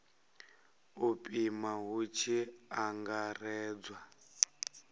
u pima hu tshi angaredzwa